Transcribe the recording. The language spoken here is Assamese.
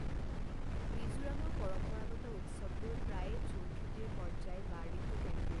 মিজোৰামৰ পৰম্পৰাগত উৎসৱবোৰ প্ৰায়ে ঝুম খেতিৰ পৰ্যায় বা ঋতুকেন্দ্ৰিক।